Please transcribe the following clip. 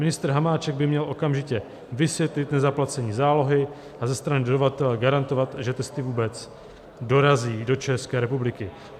Ministr Hamáček by měl okamžitě vysvětlit nezaplacení zálohy a ze strany dodavatele garantovat, že testy vůbec dorazí do České republiky.